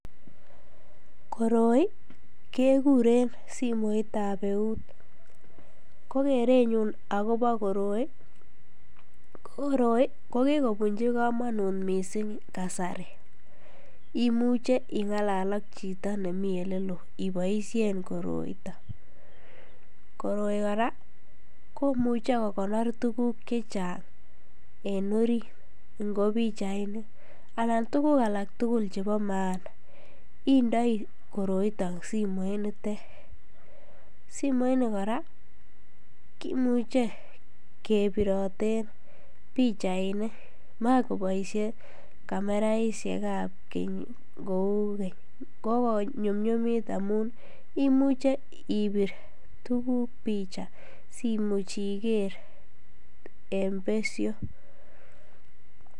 Koroi kekuren simoitab euut, ko kerenyun akobo koroi ko koroibko kikobunchi komonut mising kasari, imuche ing'alal ak chito nemii eleloo iboishen koroiton, koroi kora komuche kokonor tukuk chechang en oriit ingopichainik, alan tukuk alak tukul chebo maana indoi koroiton simoitet, koroiton kora kimuche kebiroten pichainik makoboishe kameraishekab keny kouu keny ko konyumnyumit amuun imuche ibir tukuk picha simuch iker en besho.